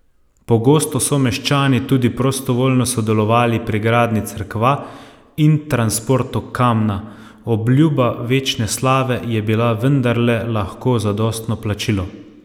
Pogosto so meščani tudi prostovoljno sodelovali pri gradnji cerkva in transportu kamna, obljuba večne slave je bila vendarle lahko zadostno plačilo.